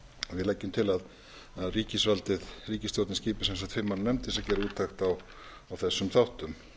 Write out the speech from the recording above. við leggjum til að ríkisstjórnin skipi sem sagt fimm manna nefnd til þess að gera úttekt á þessum þáttum